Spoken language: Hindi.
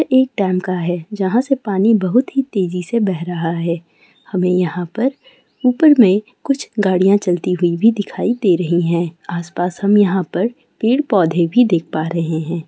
एक डैम का हैं जहाँ से पानी बहुत ही तेजी से बेह रहा है हमे यहाँ पर ऊपर में कुछ गाड़ियां चलती हुई भी दिखाई दे रहीं हैं आस-पास हम यहाँ पर पेड़-पौधे भी देख पा रहें हैं।